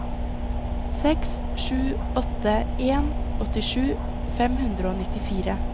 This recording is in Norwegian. seks sju åtte en åttisju fem hundre og nittifire